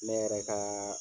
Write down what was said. Ne yɛrɛ ka